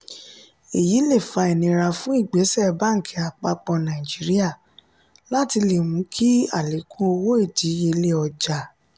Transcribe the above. èyí lè fà inira fún ìgbésẹ bánkì àpapọ nàìjíríà (cbn) láti le mú kí alekun owó ìdíyelé ọjà